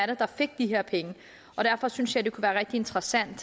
det der fik de her penge derfor synes jeg det kunne være rigtig interessant